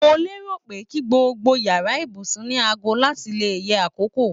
Mo lérò pe ki gbogbo yàrá ibùsùn ni aago láti le yẹ akókò